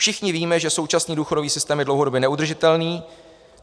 Všichni víme, že současný důchodový systém je dlouhodobě neudržitelný.